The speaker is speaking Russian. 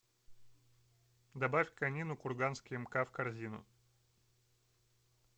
добавь конину курганский мк в корзину